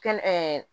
Kɛnɛ